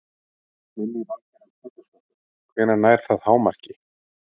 Lillý Valgerður Pétursdóttir: Hvenær nær það hámarki?